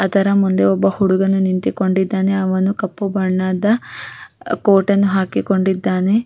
ಅದರ ಮುಂದೆ ಒಬ್ಬ ಹುಡುಗನು ನಿಂತಿಕೊಂಡಿದ್ದಾನೆ ಅವನು ಕಪ್ಪು ಬಣ್ಣದ ಕೋಟ್ ಅನ್ನು ಹಾಕಿಕೊಂಡಿದ್ದಾನೆ.